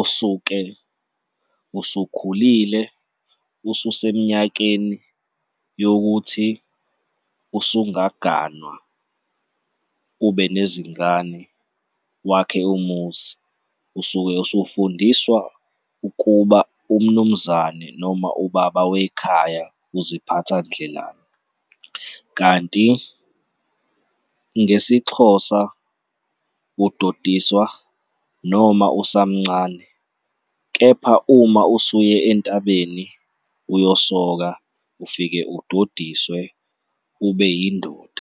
usuke usukhulile, ususeminyakeni yokuthi usungaganwa, ube nezingane, wakhe umuzi. Usuke usufundiswa ukuba umnumzane noma ubaba wekhaya uziphatha ndlelani kanti ngesiXhosa, udodiswa noma usamncane kepha uma usuye entabeni uyosoka, ufike udodiswe, ube yindoda.